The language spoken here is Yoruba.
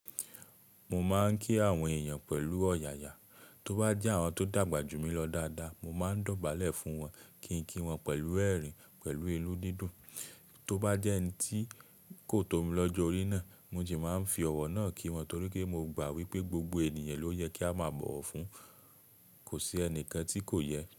Mo máa ń kí àwọn èèyàn pẹ̀lú ọ̀yàyà, tó bá jẹ́ àwọn tó dàgbà jù mí lọ dáadáa, mo máa ń dọ̀bálẹ̀ fún wọn kí n kí wọn pẹ̀lú ẹ̀rín, pẹ̀lú ìlú dídùn. Tó bá jẹ́ ẹni tí kò tó mi lọ́jọ orí náà, mo sì máa ń fi ọ̀wọ̀ náà kí wọn torí pé mo gbà wípé gbogbo ènìyàn ló yẹ kí a máa bọ̀wọ̀ fún, kò sí ẹnìkan tí kò yẹ.